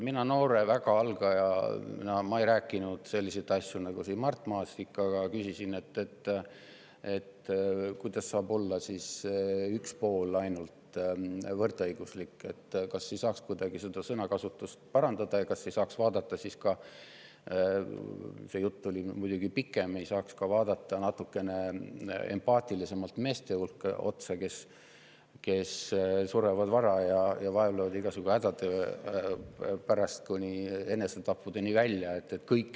Mina noore, väga algaja ei rääkinud selliseid asju nagu Mart Maastik, aga küsisin, kuidas saab võrdõiguslik olla ainult üks pool, kas ei saaks seda sõnakasutust kuidagi parandada ja vaadata – see jutt oli muidugi pikem – natukene empaatilisemalt ka meeste otsa, kes surevad vara ja vaevlevad igasugu hädade käes kuni enesetappudeni välja.